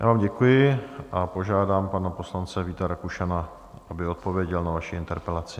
Já vám děkuji a požádám pana poslance Víta Rakušana, aby odpověděl na vaši interpelaci.